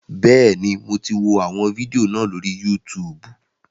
Bẹ́ẹ̀ni, mo ti wọ àwọn fídíò náà lórí Yútùùbù